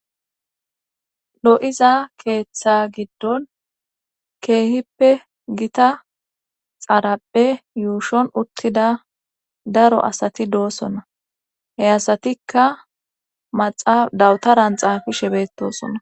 lo7iza keeththa giddon keehippe gita xarapphe yuushon uttida daro asati doosona heyasatikka maxaa dawutaran xaafishe betosona